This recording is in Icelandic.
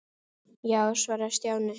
Já svaraði Stjáni.